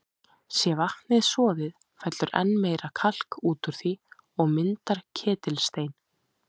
Sé vatnið soðið, fellur enn meira kalk út úr því og myndar ketilstein.